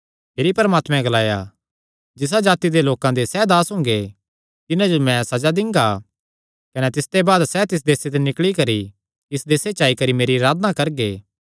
भिरी परमात्मैं ग्लाया जिसा जाति दे लोकां दे सैह़ दास हुंगे तिन्हां जो मैं सज़ा दिंगा कने तिसते बाद सैह़ तिस देसे निकल़ी करी इस देसे च आई करी मेरी अराधना करगे